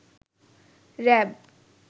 RAB